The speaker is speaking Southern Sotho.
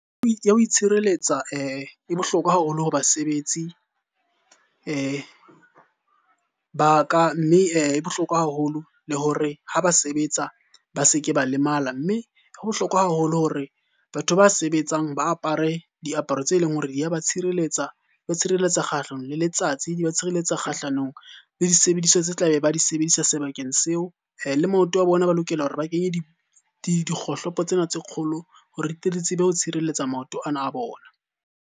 Ho itshireletsa e bohlokwa haholo ho basebetsi ba ka. Mme e bohlokwa haholo le hore ha ba sebetsa ba se ke ba lemala. Mme ho bohlokwa haholo hore batho ba sebetsang ba apare diaparo tse leng hore di ya ba tshireletsa, ba tshireletsa kgahlano le letsatsi, di ba tshireletsa kgahlanong le disebediswa tse tlabe ba di sebedisa sebakeng seo. Le maoto a bona ba lokela hore ba kenye dikgohlopo tsena tse kgolo hore di tle di tsebe ho tshireletsa maoto ana a bona.